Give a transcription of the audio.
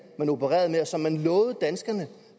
man opererede med og som man lovede danskerne